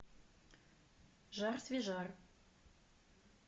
жар свежар